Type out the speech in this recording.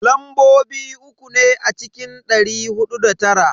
Lambobi uku ne a cikin dari hudu da tara.